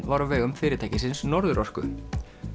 var á vegum fyrirtækisins Norðurorku